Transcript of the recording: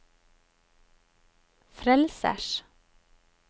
frelsers